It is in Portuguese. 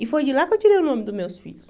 E foi de lá que eu tirei o nome dos meus filhos.